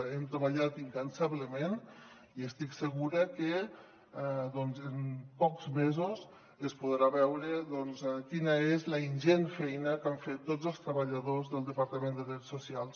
hem treballat incansablement i estic segura que en pocs mesos es podrà veure doncs quina és la ingent feina que han fet tots els treballadors del departament de drets socials